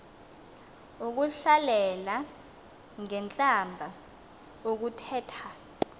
ukuhlalela ngentlamba ukuthetha